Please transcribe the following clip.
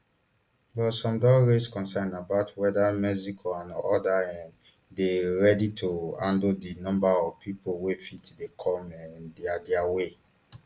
but some don raise concerns about whether mexico and odas um dey ready to handle di number of pipo wey fit dey come um dia dia way